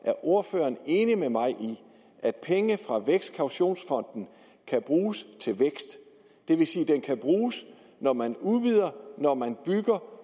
ordføreren er enig med mig i at penge fra vækstkaution kan bruges til vækst det vil sige den kan bruges når man udvider og når man bygger